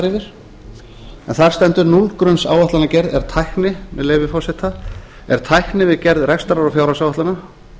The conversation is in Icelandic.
yfir en þar stendur núllgrunnsáætlanagerð er tækni með leyfi forseta er tækni við gerð rekstrar og fjárhagsáætlana